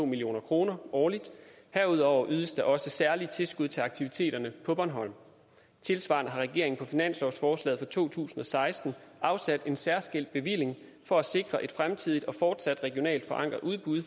million kroner årligt herudover ydes der også særlige tilskud til aktiviteterne på bornholm tilsvarende har regeringen på finanslovsforslaget for to tusind og seksten afsat en særskilt bevilling for at sikre et fremtidigt og fortsat regionalt forankret udbud i